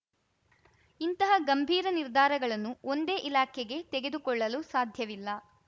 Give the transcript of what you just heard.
ಇಂತಹ ಗಂಭೀರ ನಿರ್ಧಾರಗಳನ್ನು ಒಂದೇ ಇಲಾಖೆಗೆ ತೆಗೆದುಕೊಳ್ಳಲು ಸಾಧ್ಯವಿಲ್ಲ